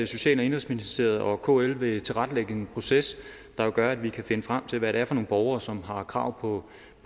social og indenrigsministeriet og kl vil tilrettelægge en proces der vil gøre at vi kan finde frem til hvad det er for nogle borgere som har krav på